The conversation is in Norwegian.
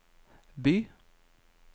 by